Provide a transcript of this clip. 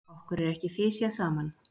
okkur er ekki fisjað saman!